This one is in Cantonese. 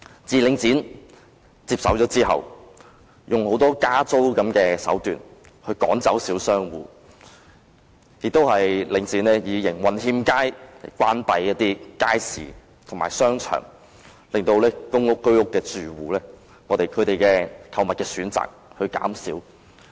自領展接手後，便往往以加租的手段趕走小商戶，更以營運欠佳為理由，關閉一些街市和商場，令公屋和居屋住戶的購物選擇減少。